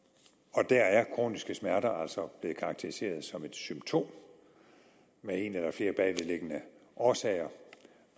og der er kroniske smerter altså blevet karakteriseret som et symptom med en eller flere bagvedliggende årsager